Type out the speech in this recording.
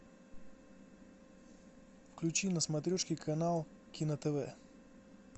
включи на смотрешке канал кино тв